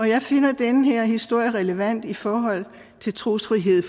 jeg finder den her historie relevant i forhold til trosfrihed